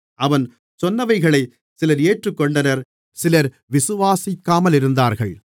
அவன் சொன்னவைகளைச் சிலர் ஏற்றுக்கொண்டனர் சிலர் விசுவாசிக்காமலிருந்தார்கள்